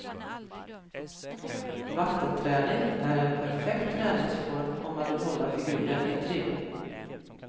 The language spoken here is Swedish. Vattenträning är en perfekt träningsform om man vill hålla figuren i trim.